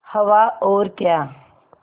हवा और क्या